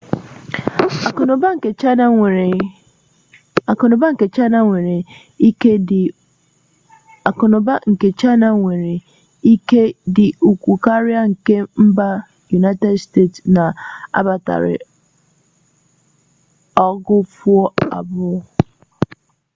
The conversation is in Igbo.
aku na uba mba china nwere ike idi ukwu karia nke mba united state na agbata ogu-afo abuo